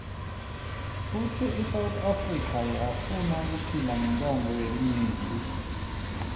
futsi isouth afrika yafunakuphila ngontsandvo yelinyenti